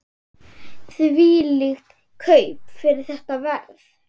Þvílík kaup fyrir þetta verð!